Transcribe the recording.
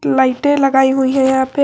लाइटें लगाई हुई हैं यहां पे।